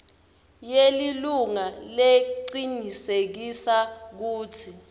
yelilunga lecinisekisa kutsi